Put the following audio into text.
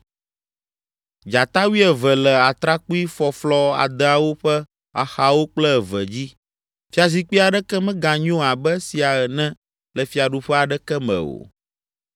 Dzata wuieve le atrakpuifɔflɔ adeawo ƒe axawo kple eve dzi. Fiazikpui aɖeke meganyo abe esia ene le fiaɖuƒe aɖeke me o.